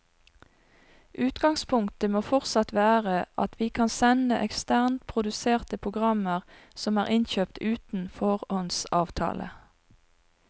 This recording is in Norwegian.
Utgangspunktet må fortsatt være at vi kan sende eksternt produserte programmer som er innkjøpt uten foråndsavtale.